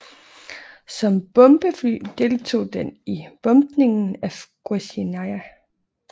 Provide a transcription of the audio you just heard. Som bombefly deltog den i bombningen af Guernica